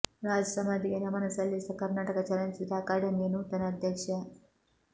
ರಾಜ್ ಸಮಾಧಿಗೆ ನಮನ ಸಲ್ಲಿಸಿದ ಕರ್ನಾಟಕ ಚಲನಚಿತ್ರ ಅಕಾಡೆಮಿಯ ನೂತನ ಅಧ್ಯಕ್ಷ